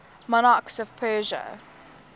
monarchs of persia